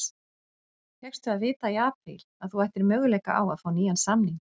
Fékkstu að vita í apríl að þú ættir möguleika á að fá nýjan samning?